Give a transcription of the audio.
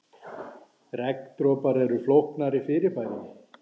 regndropar eru flóknara fyrirbæri